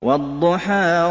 وَالضُّحَىٰ